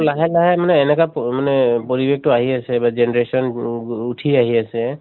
লাহে লাহে মানে এনেকা মানে পৰিৱেশতো আহি আছে বা generation নো ও উঠি আহি আছে